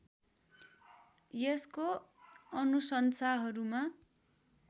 यसको अनुशंसाहरूमा